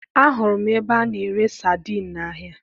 Ahụrụ m ebe a na-ere sadiin n'ahịa